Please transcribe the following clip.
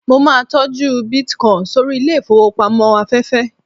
mo ma n tọju bitcoin sórí ilẹ ifowópamọ́ aféfé